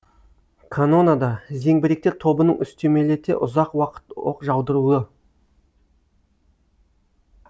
канонада зеңбіректер тобының үстемелете ұзақ уақыт оқ жаудыруы